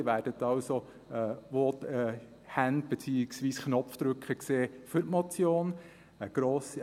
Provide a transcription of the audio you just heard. Sie werden also Hände, beziehungsweise Knopfdrücker sehen für die Motion.